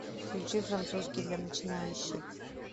включи французский для начинающих